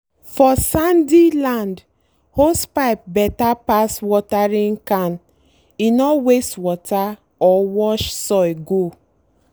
for sandy land hosepipe better pass watering can—e no waste water or wash soil go.